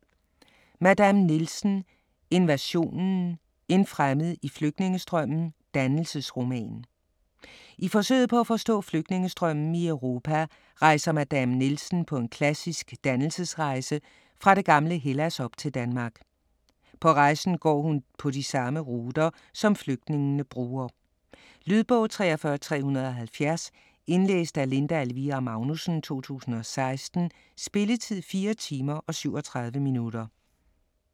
Madame Nielsen: Invasionen: en fremmed i flygtningestrømmen: dannelsesroman I forsøget på at forstå flygtningestrømmen i Europa rejser Madame Nielsen på en klassisk dannelsesrejse fra det gamle Hellas op til Danmark. På rejsen går han på de samme ruter, som flygtningene bruger. Lydbog 43370 Indlæst af Linda Elvira Magnussen, 2016. Spilletid: 4 timer, 37 minutter.